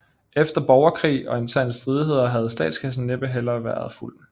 Efter borgerkrig og interne stridigheder havde statskassen næppe heller været fuld